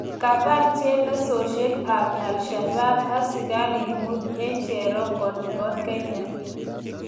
Kabar chelesosyek ap Al shabaab askariik muut eng cherongo nepo kenya